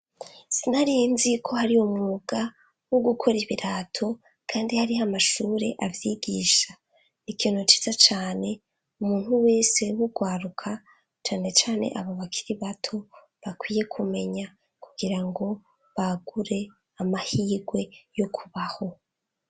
Sinarinzi ko hari umwuga wo gukora ibirato kandi hariho amashure avyigisha n'ikintu ciza cane umuntu wese w'ugwaruka cane cane abo bakiri bato bakwiye kumenya kugira ngo bagure amahigwe yo kubaho.